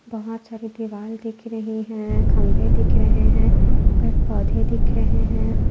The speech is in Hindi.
बहुत सारी दिवाल दिख रही है खंबे दिख रहे है पेड़ पौंधे दिख रहे है।